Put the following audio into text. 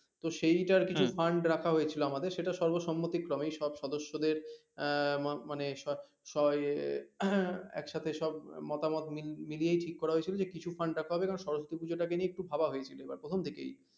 তো সেইটার কিছু fund রাখা হয়েছিলো আমাদের সেটা সরকারি সর্বসম্মতি ক্লাব এর সব সদস্যদের আহ মানে সবাই আহ একসাথে সব মতামত মিলিয়েই ঠিক করা হয়েছিলো যে কিছু fund রাখা হবে কারন সরস্বতী পুজোটা কে নিয়ে একটু ভাবা হয়েছিলো প্রথম থেকেই